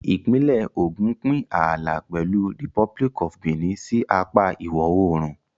Ìpínlẹ̀ Ògùn ń pín ààlà pẹ̀lú Republic of Benin sí apá ìwọ̀-oòrùn.